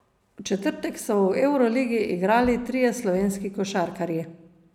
V četrtek so v evroligi igrali trije slovenski košarkarji.